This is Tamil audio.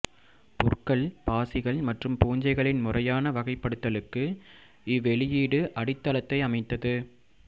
புற்கள் பாசிகள் மற்றும் பூஞ்சைகளின் முறையான வகைப்படுத்தலுக்கு இவ்வெளியீடு அடித்தளத்தை அமைத்தது